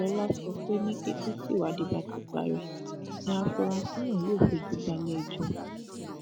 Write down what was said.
lọlá sọ pé ní kété tíwádìí bá ti parí ni àfúráṣí náà yóò fojú balẹẹjọ